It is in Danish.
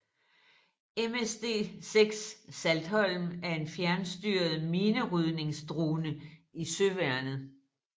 MSD6 Saltholm er en fjernstyret minerydningsdrone i Søværnet